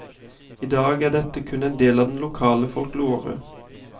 I dag er dette kun en del av den lokale folklore.